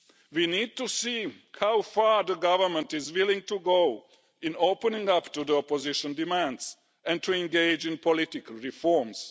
We need to see how far the government is willing to go in opening up to the opposition demands and to engage in political reforms.